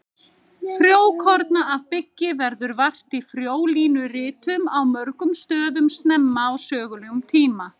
Frjókorna af byggi verður vart í frjólínuritum á mörgum stöðum snemma á sögulegum tíma.